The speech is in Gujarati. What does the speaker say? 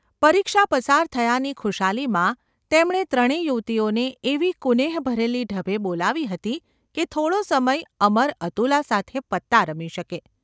પરીક્ષા પસાર થયાની ખુશાલીમાં તેમણે ત્રણે યુવતીઓને એવી કુનેહભરેલી ઢબે બોલાવી હતી કે થોડો સમય અમર અતુલા સાથે પત્તાં રમી શકે.